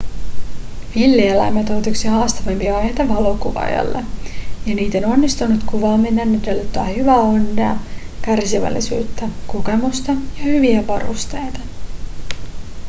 villieläimet ovat yksi haastavimpia aiheita valokuvaajalle ja niiden onnistunut kuvaaminen edellyttää hyvää onnea kärsivällisyyttä kokemusta ja hyviä varusteita